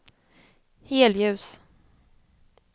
helljus